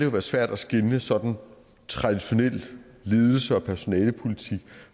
være svært at skelne sådan traditionel ledelse og personalepolitik